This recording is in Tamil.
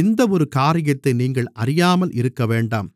இந்த ஒரு காரியத்தை நீங்கள் அறியாமல் இருக்கவேண்டாம்